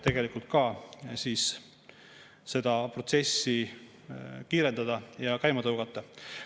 Tegelikult seda protsessi kiirendada ja käima tõugata.